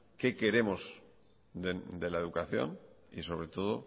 qué queremos de la educación y sobre todo